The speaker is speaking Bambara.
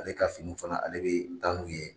Ale ka finiw fana ale bɛ taa n'u ye.